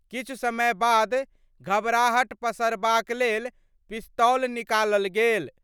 किछु समय बाद घबराहट पसरबाक लेल पिस्तौल निकालल गेल।